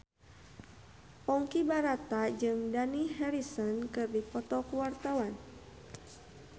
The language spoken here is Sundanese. Ponky Brata jeung Dani Harrison keur dipoto ku wartawan